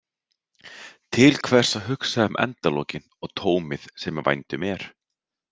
Til hvers að hugsa um endalokin og tómið sem í vændum er?